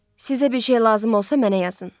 Sizə bir şey lazım olsa mənə yazın.